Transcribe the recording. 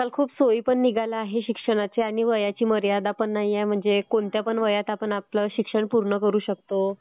आजकाल खूप सोयी पण निघाल्या आहेत शिक्षणाच्या. आणि वयाची मर्यादा पण नाहीये म्हणजे कोणत्याही वयात आपण आपलं शिक्षण पूर्ण करू शकतो.